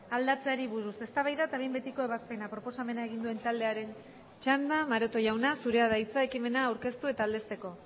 aldatzeari buruz eztabaida eta behin betiko ebazpena proposamena egin duen taldearen txanda maroto jauna zurea da hitza ekimena aurkeztu eta aldezteko